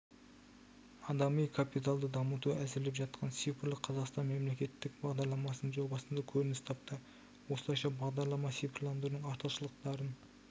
адами капиталды дамыту әзірлеп жатқан цифрлық қазақстан мемлекеттік бағдарламасының жобасында көрініс тапты осылайша бағдарлама цифрландырудың артықшылықтарын